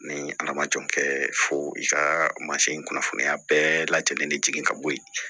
Ni ala ma jan kɛ fo i ka mansin kunnafoniya bɛɛ lajɛlen ni jigin ka bɔ ye